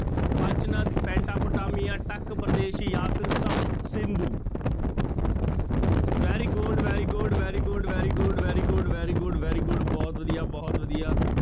ਪੰਚ ਨਦ, Pentapotamia, Takk Pradesh ਜਾਂ ਫਿਰ Sapta Sindhu very good, very good, very good, very good, very good, very good, very good ਬਹੁਤ ਵਧੀਆ, ਬਹੁਤ ਵਧੀਆ